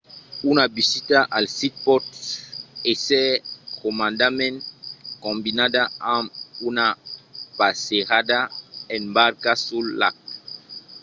una visita al sit pòt èsser comòdament combinada amb una passejada en barca sul lac